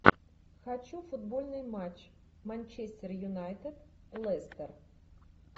хочу футбольный матч манчестер юнайтед лестер